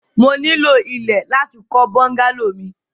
Mo ní ilọ̀ ilẹ̀ láti kọ̀ bùngàlọ̀ mi.